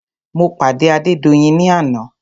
Mo pàdé Adédoyin ní àná.